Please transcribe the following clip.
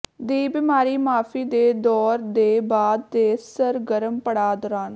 ਦੀ ਬਿਮਾਰੀ ਮਾਫ਼ੀ ਦੇ ਦੌਰ ਦੇ ਬਾਅਦ ਦੇ ਸਰਗਰਮ ਪੜਾਅ ਦੌਰਾਨ